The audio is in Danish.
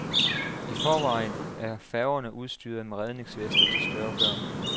I forvejen er færgerne udstyret med redningsveste til større børn.